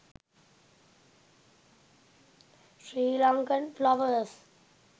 sri lankan flowers